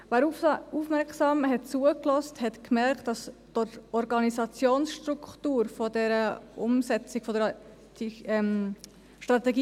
Wer aufmerksam zugehört hat, hat gemerkt, dass die Organisationsstruktur der Umsetzung der Strategie